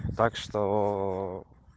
так что